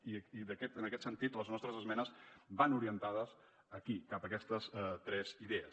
i en aquest sentit les nostres esmenes van orientades aquí cap a aquestes tres idees